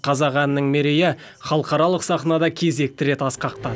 қазақ әнінің мерейі халықаралық сахнада кезекті рет асқақтады